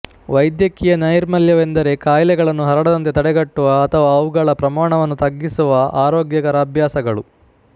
ವೈದ್ಯಕೀಯ ನೈರ್ಮಲ್ಯವೆಂದರೆ ಕಾಯಿಲೆಗಳನ್ನು ಹರಡದಂತೆ ತಡೆಗಟ್ಟುವ ಅಥವಾ ಅವುಗಳ ಪ್ರಮಾಣವನ್ನು ತಗ್ಗಿಸುವ ಆರೋಗ್ಯಕರ ಅಭ್ಯಾಸಗಳು